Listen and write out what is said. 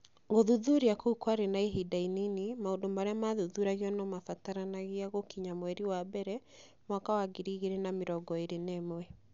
Gũthuthuria kũu kwarĩ na ihinda inini (maũndũ marĩa maathuthuragio no mabataranagia gũkinya mweri wa mbere mwaka wa ngiri igĩrĩ na mĩrongo ĩĩrĩ na ũmwe)